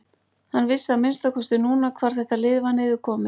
Hann vissi að minnsta kosti núna hvar þetta lið var niðurkomið.